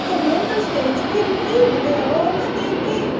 The Member States can give their own State aid.